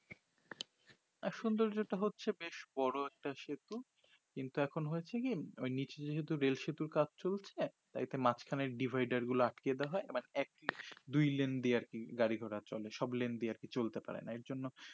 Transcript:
আঃ সুন্দর্য টা হচ্ছে বেশ বড়ো একটা সেতু কিন্তু এখন হয়েছে কি ওই নিচ নিচে রেল সেতুর কাজ চলছে তাই একটা মাজখানে dvaidar গুলো আটকে দেওয়া হয় এবার একই দুই লেন্ড এ আর কি গাড়ি গোড়া চলে সব লেন্ড এ আর কি চলতে পারে না এর জন্য